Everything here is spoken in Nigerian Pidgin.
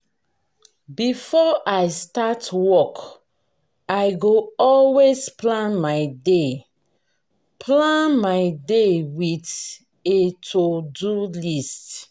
before i start work i go always plan my day plan my day with a to-do list.